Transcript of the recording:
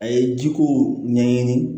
A ye ji ko ɲɛɲini